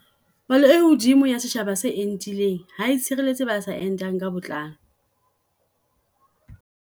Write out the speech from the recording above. Palo e hodimo ya setjhaba se entileng ha e tshireletse ba sa entang ka botlalo.